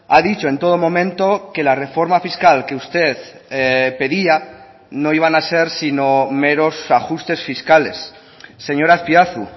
ha dicho en todo momento que la reforma fiscal que usted pedía no iban a ser sino meros ajustes fiscales señor azpiazu